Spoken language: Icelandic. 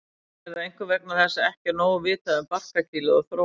Er það einkum vegna þess að ekki er nóg vitað um barkakýlið og þróun þess.